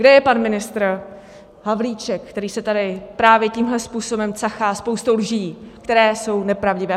Kde je pan ministr Havlíček, který se tady právě tímhle způsobem cachá spoustou lží, které jsou nepravdivé?